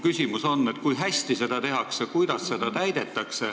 Kui hästi seda nõuet täidetakse?